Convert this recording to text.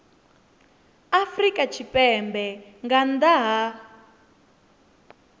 afrika tshipembe nga nnḓa ha